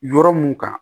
Yɔrɔ mun kan